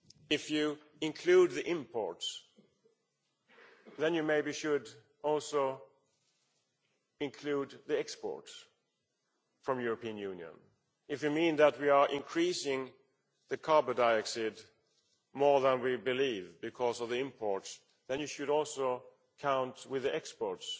If you include the imports, then you should perhaps also include the exports from the European Union. If you mean that we are increasing carbon dioxide more than we believe because of the imports, then you should also count the exports.